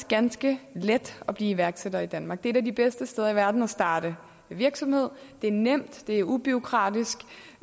ganske let at blive iværksætter i danmark det er et af de bedste steder i verden at starte virksomhed det er nemt det er ubureaukratisk